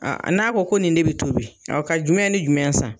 n'a ko ko nin de bɛ tobi, ka jumɛn ni jumɛn san?